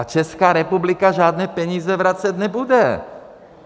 A Česká republika žádné peníze vracet nebude.